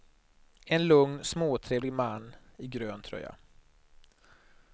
En lugn småtrevlig man i grön tröja.